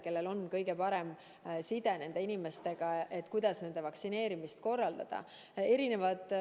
Nendel on kõige parem side inimestega ja nad teavad, kuidas vaktsineerimist korraldada.